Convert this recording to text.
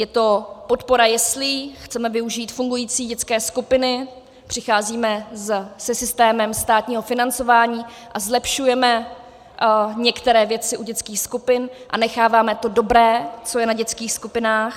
Je to podpora jeslí, chceme využít fungující dětské skupiny, přicházíme se systémem státního financování a zlepšujeme některé věci u dětských skupin a necháváme to dobré, co je na dětských skupinách.